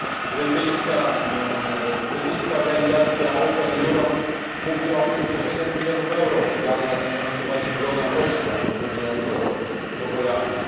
Brytyjska organizacja Open Europe mówi o tym, że 7 mln euro wydano na sfinansowanie bloga osła podróżującego po Holandii.